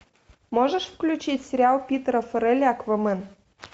можешь включить сериал питера фарелли аквамен